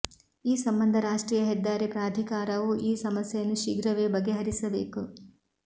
ಈ ಸಂಬಂಧ ರಾಷ್ಟ್ರೀಯ ಹೆದ್ದಾರಿ ಪ್ರಾಧಿಕಾರವು ಈ ಸಮಸ್ಯೆಯನ್ನು ಶೀಘ್ರವೇ ಬಗೆಹರಿಸಬೇಕು